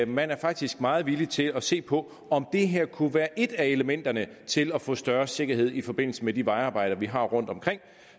man er faktisk meget villig til at se på om det her kunne være et af elementerne til at få større sikkerhed i forbindelse med de vejarbejder vi har rundtomkring